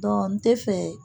n tɛ fɛ